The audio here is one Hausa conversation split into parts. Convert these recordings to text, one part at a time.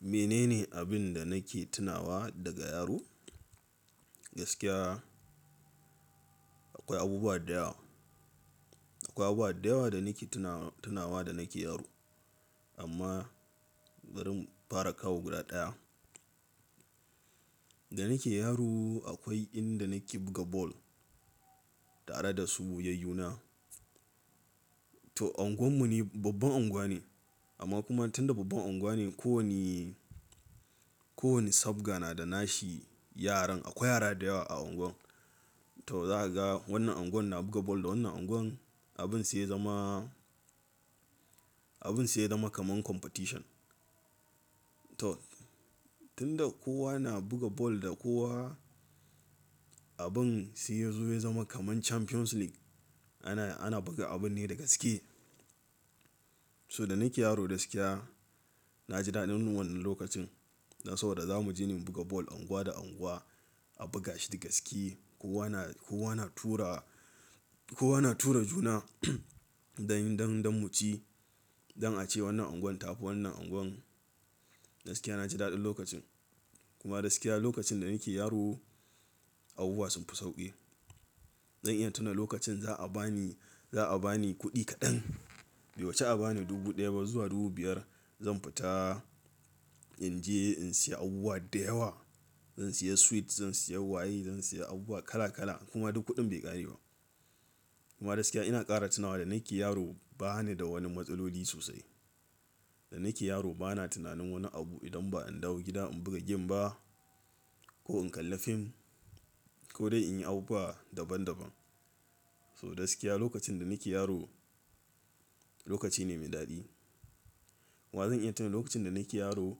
Mene ne abin da nake tunawa daga yaro? Gaskiya akwai abubuwa da yawa. Akwai abubuwa da yawa da nake tunawa da nake yaro. Amma barin fara kawo guda ɗaya. Da nake yaro akwai inda nake buga ball tare da su yayyuna. To unguwar mu ne babban unguwa ne amma kuma tunda babban unguwa ne ko wane, ko wane sabga na da nashi yaran. Akwai yara da yawa a unguwar. To za ka ga wannan unguwar na buga ball da wannan unguwar abin sai ya zama, abin sai ya zama kaman competition. To tun da kowa na buga ball da kowa abin sai ya zo ya zama kaman Champions League. Ana, ana buga abun ne da gaske. So da nake yaro gaskiya na ji daɗin wannan lokacin. Dan sabodazamu je mu buga ball unguwa da unguwa a buga shi da gaske. Kowa na, kowa na tura, kowa na tura juna don, don, don mu ci. Don a ci wannan unguwar ta fi wannan unguwar. Gaskiya na ji daɗin lokacin. Kuma gaskiya lokacin da nake yaro abubuwa sun fi sauƙi. Zan iya tuna lokacin za a ba ni, za a ba ni kuɗi kaɗan. Bai wuce a ba ni dubu ɗaya ba zuwa dubu biyar. Zan fita in je in siya abubuwa da yawa. Zan siya sweet, zan siya waye, zan siya abubuwa kala kala kuma duk kuɗin bai ƙare ba. Kuma gaskiya ina ƙara tunawa da nake yaro ba ni da wani matsaloli sosai. Da nake yaro bana tunanin wani abu idan ba in dawo gida in buga game ba ko in kalla fim ko dai in yi abubuwa daban daban. So gaskiya lokacin da nake yaro lokaci ne mai daɗi. Wa zan iya tuna lokacin da nake yaro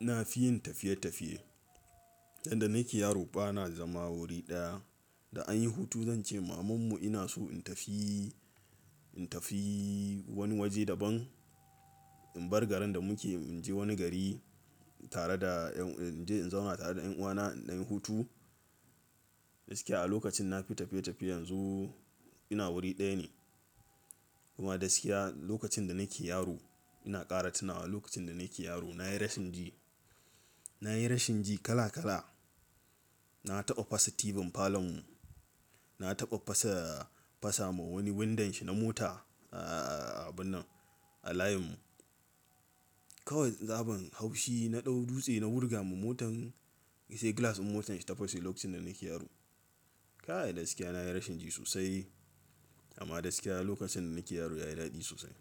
na fi yin tafiye tafiye. Inda nake yaro bana zama wuri ɗaya. Da anyi hutu zan ce maman mu ina so in tafi, in tafi wani waje daban. In bar garin da muke in je wani gari tare da in je in zauna tare da ƴan uwana idan anyi hutu. Gaskiya a lokacin na fi tafiye tafiye yanzu ina wuri ɗaya ne. Kuma gaskiya lokacin da nake yaro ina ƙara tunawa lokacin da nake yaro na yi rashin ji. Na yi rashin ji kala kala. Na taɓa fasa tibin falon mu. Na taɓa fasa, fasa ma wani windon shi na mota a abun nan a layin mu. Kawai sabon haushi na ɗau dutse na wurga ma motan sai glass ɗin motar shi ta fashe lokacin da nake yaro. Kai gaskiya na yi rashin ji sosai. Amma gaskiya lokacin da nake yaro yayi daɗi sosai.